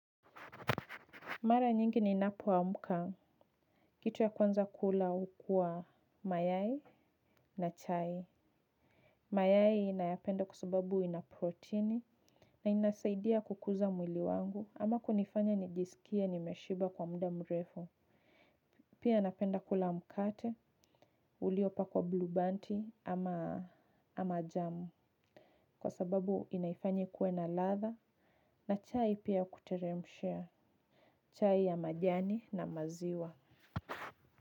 Mara nyingi ninapo amka, kitu ya kwanza kula ukua mayai na chai. Mayai nayapenda kwa sababu ina protini na inasaidia kukuza mwili wangu ama kunifanya nijisikie nimeshiba kwa mda mrefu. Pia napenda kula mkate, uliopakwa blubanti ama jamu kwa sababu inaifanya ikuwe na ladha na chai pia kuteremshia chai ya majani na maziwa.